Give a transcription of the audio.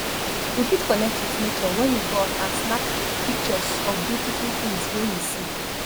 we fit connect with nature when we go out and snap pictures of beautiful things wey we see